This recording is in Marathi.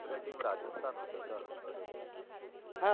राजस्थान होत ना बरोबर आहे